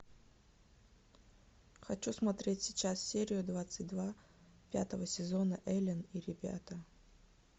хочу смотреть сейчас серию двадцать два пятого сезона элен и ребята